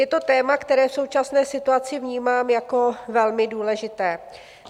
Je to téma, které v současné situaci vnímám jako velmi důležité.